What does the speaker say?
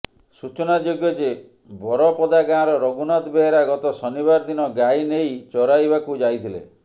ସୂଚନାଯୋଗ୍ୟ ଯେ ବରପଦା ଗାଁର ରଘୁନାଥ ବେହେରା ଗତ ଶନିବାର ଦିନ ଗାଈ ନେଇ ଚରାଇବାକୁ ଯାଇଥିଲେ